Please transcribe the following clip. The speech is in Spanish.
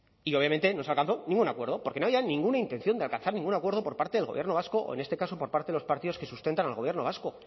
y obviamente no se alcanzó ningún acuerdo porque no había ninguna intención de alcanzar ningún acuerdo por parte del gobierno vasco o en este caso por parte de los partidos que sustentan al gobierno vasco